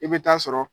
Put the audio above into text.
I bɛ taa sɔrɔ